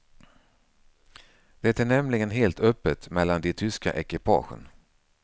Det är nämligen helt öppet mellan de tyska ekipagen.